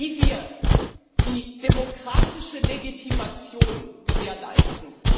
Wie wir die demokratische Legitimation gewährleisten?